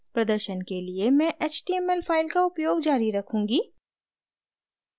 प्रदर्शन के लिए मैं html फाइल का उपयोग जारी रखूँगी